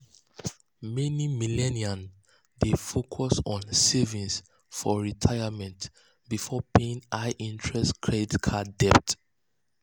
meni millennials dey focus on saving for retirement before paying high-interest credit card debts.